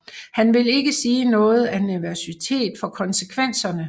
Han vil ikke sige noget af nervøsitet for konsekvenserne